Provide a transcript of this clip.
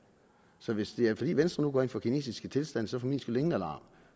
så hvis det er fordi venstre nu går ind for kinesiske tilstande så for min skyld ingen alarm